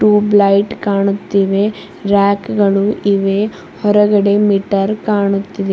tube light ಕಾಣುತ್ತಿವೆ rack ಗಳು ಇವೆ ಹೊರಗಡೆ ಮೀಟರ್ ಕಾಣುತ್ತಿದೆ